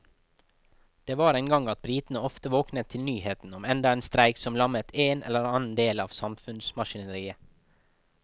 Det var en gang at britene ofte våknet til nyhetene om enda en streik som lammet en eller annen del av samfunnsmaskineriet.